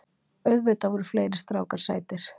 Auðvitað voru fleiri strákar sætir.